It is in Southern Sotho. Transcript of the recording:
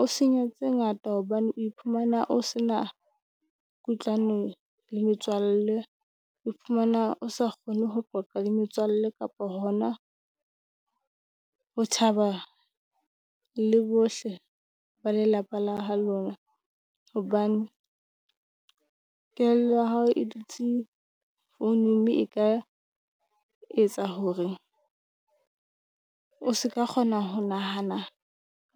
o senya tse ngata hobane o iphumana o se na kutlwano le metswalle. O fumana o sa kgone ho qoqa le metswalle kapa hona ho thaba le bohle ba lelapa la lona. Hobane kelello ya hao e dutse founung, mme e ka etsa hore o se ka kgona ho nahana